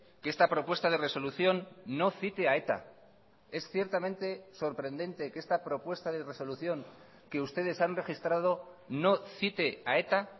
que esta propuesta de resolución no cite a eta es ciertamente sorprendente que esta propuesta de resolución que ustedes han registrado no cite a eta